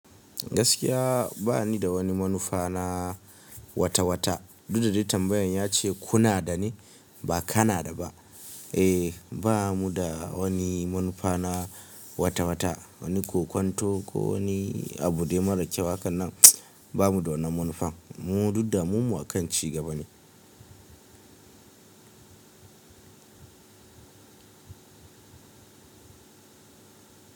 Gaskiya ba ni da wani manufa na watawata. Duk da de tambayan yace kunada ne ba kanada ba eh, ba mu da wani manufa na watawata, wani kokwanto ko wani abu de mara kyau. Hakanan ba mu da wannan manufan mu, duk damuwammu akan ci gaba ne.